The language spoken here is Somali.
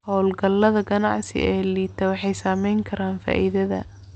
Hawlgallada ganacsi ee liita waxay saameyn karaan faa'iidada.